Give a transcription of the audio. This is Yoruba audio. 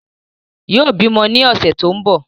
Yóò bímọ ní ọ̀sẹ̀ tó ń bọ̀